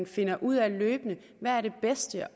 finder ud af hvad det bedste